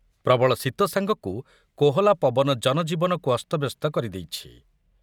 ପ୍ରବଳ ଶୀତ ସାଙ୍ଗକୁ କୋହଲା ପବନ ଜନଜୀବନକୁ ଅସ୍ତବ୍ଯସ୍ତ କରିଦେଇଛି ।